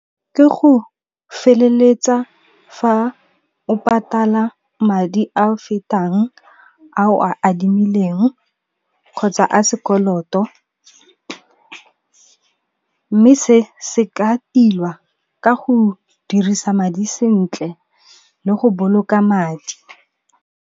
Ke go feleletsa fa o patala madi a fetang a o a adimileng kgotsa a sekoloto, mme se se ka tilwa ka go dirisa madi sentle le go boloka madi.